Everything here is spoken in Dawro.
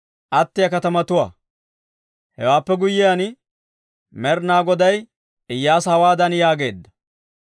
Hewaappe guyyiyaan Med'ina Goday Iyyaasa hawaadan yaageedda;